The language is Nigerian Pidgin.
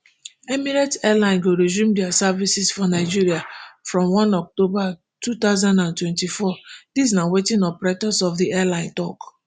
emirates airline go resume dia services for nigeria from one october two thousand and twenty-four dis na wetin operators of di airline tok